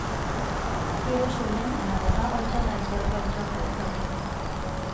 Keiroshi oleng enapata olchala tiatwa ilchambai sapukin.